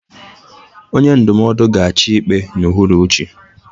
onye ndụmọdụ ga-achị ikpe a n'uhuruchi